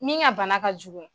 Min ŋa bana ka jugu